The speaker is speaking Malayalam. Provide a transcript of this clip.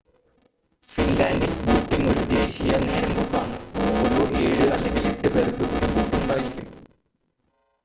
ഫിൻലൻഡിൽ ബോട്ടിംങ് ഒരു ദേശീയ നേരമ്പോക്ക് ആണ് ഓരോ ഏഴ് അല്ലെങ്കിൽ എട്ട് പേർക്കും ഒരു ബോട്ട് ഉണ്ടായിരിക്കും